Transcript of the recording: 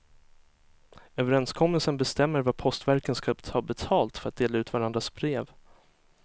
Överenskommelsen bestämmer vad postverken ska ta betalt för att dela ut varandras brev.